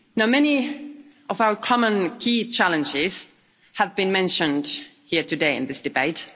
Many of our common key challenges have been mentioned here today in this debate.